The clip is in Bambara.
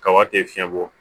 Kaba tɛ fiɲɛ bɔ